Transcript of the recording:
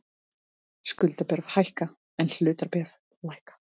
Skuldabréf hækka en hlutabréf lækka